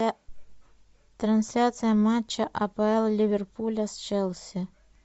трансляция матча апл ливерпуля с челси